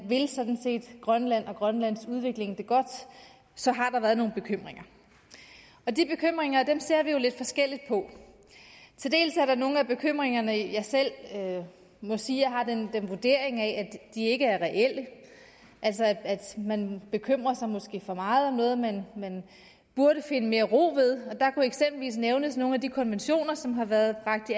sådan set vil grønland og grønlands udvikling det godt så har der været nogle bekymringer og de bekymringer ser vi jo lidt forskelligt på til dels er der nogle af bekymringerne jeg selv må sige jeg har den vurdering af ikke er reelle at man bekymrer sig for meget om noget man burde finde mere ro ved der kunne eksempelvis nævnes nogle af de konventioner som har været bragt